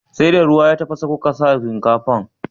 Sai da ruwa ya tafasa kuka sa shinkafar?